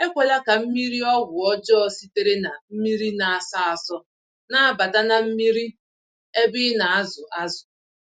Ekwela ka mmiri-ọgwụ ọjọ sitere na mmírí na-asọ asọ, nabata na mmiri ébé ịnazụ ázụ̀